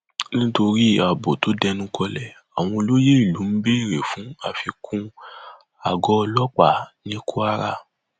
nítorí ààbò tó dẹnukọlẹ àwọn olóyè ìlú ń béèrè fún àfikún àgọ ọlọpàá ní kwara